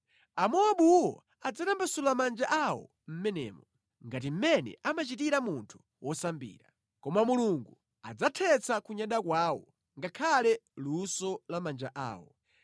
Amowabuwo adzatambasula manja awo mʼmenemo, ngati mmene amachitira munthu wosambira. Koma Mulungu adzathetsa kunyada kwawo ngakhale luso la manja awo.